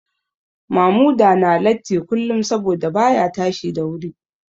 Mamuda na latti kullum saboda baya tashi da wuri